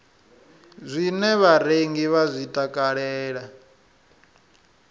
zwine vharengi vha zwi takalela